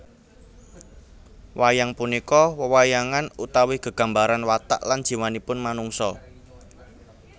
Wayang punika wewayangan utawi gegambaran watak lan jiwanipun manungsa